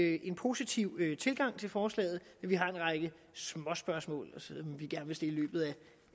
vi en positiv tilgang til forslaget vi har en række småspørgsmål